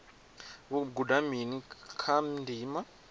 vho guda mini kha ndima